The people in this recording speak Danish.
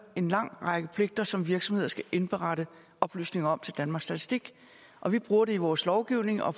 en lang række pligter som virksomheder skal indberette oplysninger om til danmarks statistik og vi bruger det i vores lovgivning og